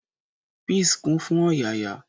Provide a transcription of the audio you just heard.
Peace kún fún ọ̀yàyà.